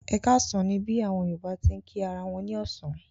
Ẹ káàsán ni bí àwọn Yorùbá ti ń kí ara wọn ní ọ̀sán.